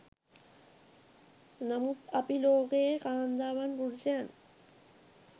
නමුත් අපි ලෝකයේ කාන්තාවන් පුරුෂයන්